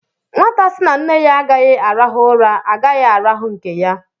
Nwata sị na nne ya agaghị arahu ụra, agaghị arahu nke ya.